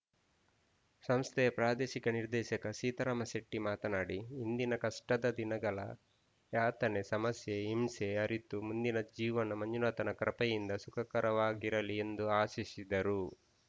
ಸಂಸ್ಥೆಯ ಪ್ರಾದೇಶಿಕ ನಿರ್ದೆಶಕ ಸೀತಾರಾಮ ಶೆಟ್ಟಿಮಾತನಾಡಿ ಹಿಂದಿನ ಕಷ್ಟದ ದಿನಗಳ ಯಾತನೆ ಸಮಸ್ಯೆ ಹಿಂಸೆ ಅರಿತು ಮುಂದಿನ ಜೀವನ ಮಂಜುನಾಥನ ಕೃಪೆಯಿಂದ ಸುಖಕರವಾಗಿರಲಿ ಎಂದು ಆಶಿಸಿದರು